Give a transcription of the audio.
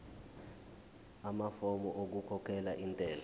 amafomu okukhokhela intela